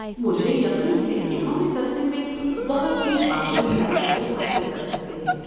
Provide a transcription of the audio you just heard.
مجھے یقین ہے کہ ہم اس عرصے میں بہت سی باہمی صلاحیتیں حاصل کر سکتے ہیں۔